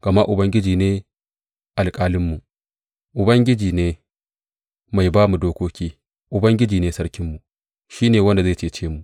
Gama Ubangiji ne alƙalinmu, Ubangiji ne mai ba mu dokoki, Ubangiji ne sarkinmu; shi ne wanda zai cece mu.